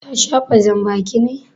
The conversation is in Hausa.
Ta shafa janbaki ne?